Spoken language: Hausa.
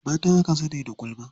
Mata aka sani da gulma.